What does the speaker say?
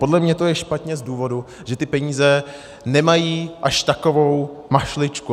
Podle mě to je špatně z důvodu, že ty peníze nemají až takovou mašličku.